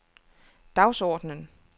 dagsordenen